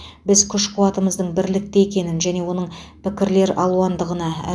біз күш қуатымыздың бірлікте екенін және оның пікірлер алуандығына